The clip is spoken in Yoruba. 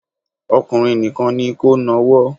Ọkùnrin nìkan ni kó nawọ́